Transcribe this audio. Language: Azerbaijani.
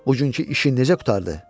Buggünkü işin necə qurtardı?